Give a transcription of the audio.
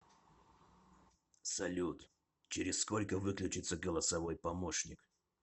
салют через сколько выключится голосовой помощник